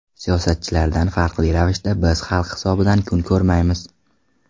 Siyosatchilardan farqli ravishda biz xalq hisobidan kun ko‘rmaymiz.